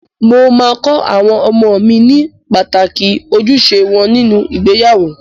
Mo máa kọ àwọn ọmọ mi ní pàtàkì ojúṣe wọn nínú ìgbéyàwó.